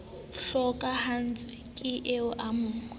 hlokahallwa ke eo o mo